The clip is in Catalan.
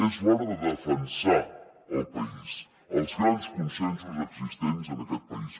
és l’hora de defensar el país els grans consensos existents en aquest país